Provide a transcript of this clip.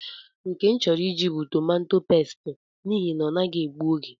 Nke m chọrọ Ị jị bụ tomato pesti, n’ihi na-ọnaghị egbu oge